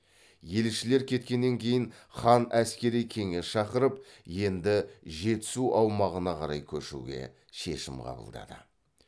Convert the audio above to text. елшілер кеткеннен кейін хан әскери кеңес шақырып енді жетісу аумағына қарай көшуге шешім қабылдады